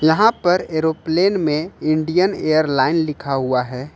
यहां पर एरोप्लेन में इंडियन एयरलाइन लिखा हुआ है।